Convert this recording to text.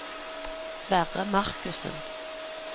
Sverre Markussen